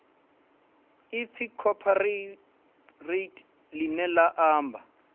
ipfi cooperate ḽine ḽa amba